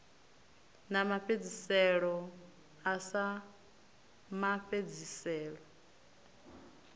na mafhedziselo a sa mafhedziselo